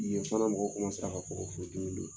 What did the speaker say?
Yen fana mɔgɔw kɔmasela ka fini don